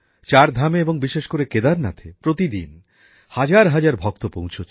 চার ধামে এবং বিশেষ করে কেদারনাথে প্রতিদিন হাজার হাজার ভক্ত পৌঁছাচ্ছেন